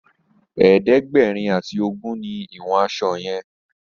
ẹ̀ẹ́dẹ̀gbẹ̀rin ati ogún ní ìwòn aṣọ yen.